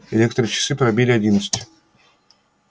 электрочасы пробили одиннадцать